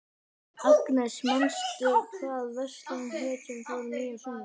Agnes, manstu hvað verslunin hét sem við fórum í á sunnudaginn?